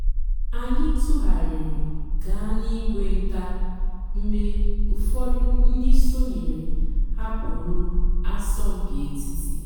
ányị́ tụ́ghàrị́rị́ gàá n'ìgwé ǹtá mg̀bé ụ́fọ̀dụ́ ndị́ sònyééré hàpụ́rụ́ àsọ̀mpị́ ètìtí.